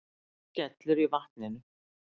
Skellur í vatninu.